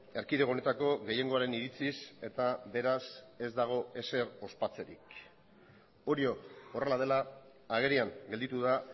erkidego honetako gehiengoaren iritziz eta beraz ez dago ezer ospatzerik hori horrela dela agerian gelditu da